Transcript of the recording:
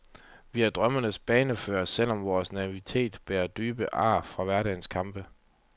Vi er drømmens bannerførere selv om vor naivitet bærer dybe ar fra hverdagens kampe.